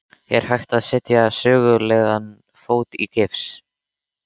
Er hægt að setja sögulegan fót í gifs?